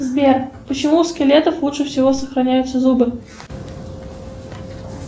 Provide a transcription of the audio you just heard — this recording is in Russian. сбер почему у скелетов лучше всего сохраняются зубы